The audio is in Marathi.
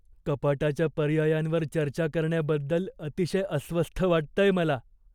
कपाटाच्या पर्यायांवर चर्चा करण्याबद्दल अतिशय अस्वस्थ वाटतंय मला.